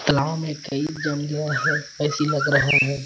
तलाव में कई जम गया है ऐसी लग रहा है।